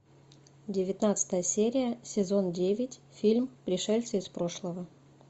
девятнадцатая серия сезон девять фильм пришельцы из прошлого